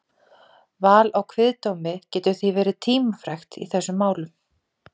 Val á kviðdómi getur því verið tímafrekt í þessum málum.